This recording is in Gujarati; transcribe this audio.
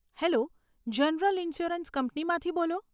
હેલ્લો, જનરલ ઇન્શ્યોરન્સ કંપનીમાંથી બોલો?